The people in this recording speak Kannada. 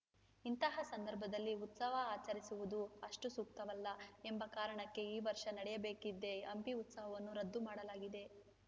ಇಂತಹ ಸಂದರ್ಭದಲ್ಲಿ ಉತ್ಸವ ಆಚರಿಸುವುದು ಅಷ್ಟುಸೂಕ್ತವಲ್ಲ ಎಂಬ ಕಾರಣಕ್ಕೆ ಈ ವರ್ಷ ನಡೆಯಬೇಕಿದ್ದ ಹಂಪಿ ಉತ್ಸವವನ್ನು ರದ್ದು ಮಾಡಲಾಗಿದೆ